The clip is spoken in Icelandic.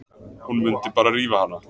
Hún mundi bara rífa hana.